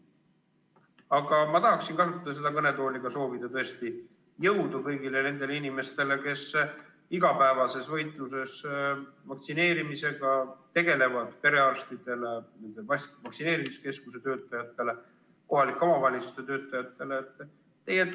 Aga tahan kasutada seda kõnetooli, et soovida tõesti jõudu kõigile nendele inimestele, kes igapäevases võitluses vaktsineerimisega tegelevad – perearstidele, vaktsineerimiskeskuse töötajatele, kohalike omavalitsuste töötajatele.